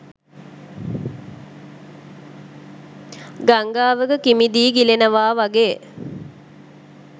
ගංගාවක කිමිදී ගිලෙනවා වගේ